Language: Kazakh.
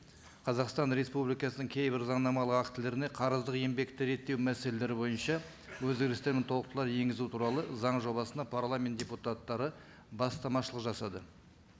қазақстан республикасының кейбір заңнамалық актілеріне қарыздық еңбекті реттеу мәселелері бойынша өзгерістер мен толықтырулар енгізу туралы заң жобасына парламент депутаттары бастамашылық жасады